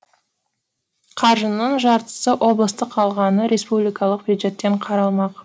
қаржының жартысы облыстық қалғаны республикалық бюджеттен қаралмақ